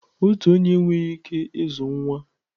Otu onye enweghị ike ịzụ nwa.